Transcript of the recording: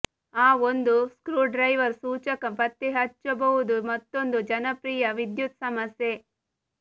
ಆ ಒಂದು ಸ್ಕ್ರೂಡ್ರೈವರ್ ಸೂಚಕ ಪತ್ತೆಹಚ್ಚಬಹುದು ಮತ್ತೊಂದು ಜನಪ್ರಿಯ ವಿದ್ಯುತ್ ಸಮಸ್ಯೆ